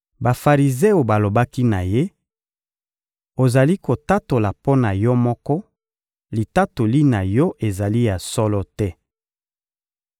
Bafarizeo balobaki na Ye: — Ozali kotatola mpo na yo moko, litatoli na yo ezali ya solo te.